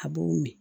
A b'o min